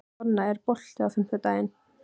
Donna, er bolti á fimmtudaginn?